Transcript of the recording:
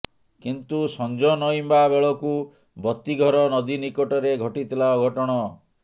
କିନ୍ତୁ ସଞ୍ଜ ନଇଁବା ବେଳକୁ ବତୀଘର ନଦୀ ନିକଟରେ ଘଟିଥିଲା ଅଘଟଣ